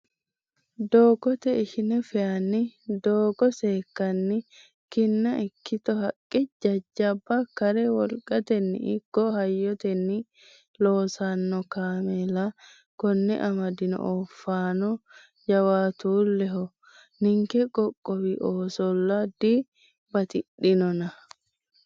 Doogote ishine faayanni doogo seekkanni ki'na ikkitto haqqa jajjabba kare wolqateni ikko hayyoteni loosano kaameella kone amadano oofanono jawaatuleho ninke qoqqowi oosolla dibatidhanonna.